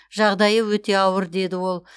жағдайы өте ауыр деді ол